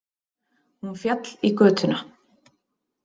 Hún féll í götuna